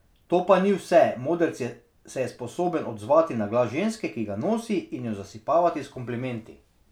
To pa ni vse, modrc se je sposoben odzvati na glas ženske, ki ga nosi, in jo zasipavati s komplimenti.